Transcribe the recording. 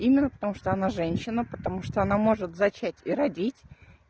именно потому что она женщина она может зачать и родить